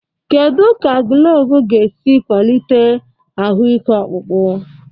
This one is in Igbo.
Kedu ka gulovo ga-esi kwalite ahụike ọkpụkpụ?